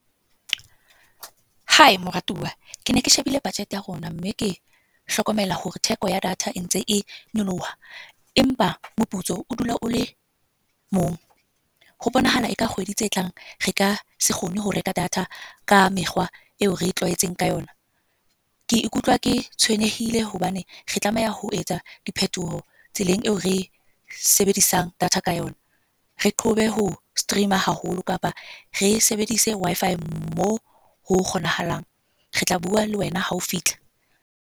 Hai moratuwa, kene ke shebile budget ya rona. Mme ke hlokomela hore theko ya data e ntse e nyoloha. Empa meputso o dula o le mong. Ho bonahala eka kgwedi tse tlang re ka se kgone ho reka data ka mekgwa eo re itlwaeditseng ka yona. Ke ikutlwa ke tshwenyehile hobane re tlameha ho etsa diphetoho tseleng eo re sebedisang data ka yona. Re qhobe ho stream-a haholo kapa re sebedise Wi-Fi moo ho kgonahalang. Re tla bua le wena hao fihla.